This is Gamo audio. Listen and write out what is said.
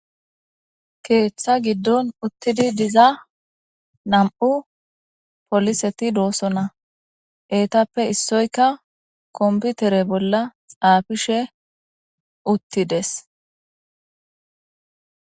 keeththa giddon uttidi diza nam7u poliseti doosona. eetappe issoyka komputere bolla xaafishe uttides.